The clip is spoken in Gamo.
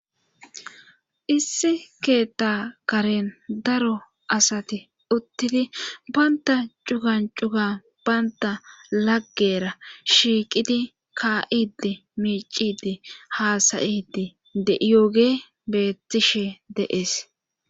Issi keetta karen daro asati uttidi bantta cugan cuga baynta laggera shiiqidi ka'idi miicidi haasayidi deiyooge beettishe dee'es